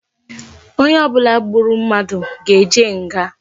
Onye obula gburu mmadu ga eje nga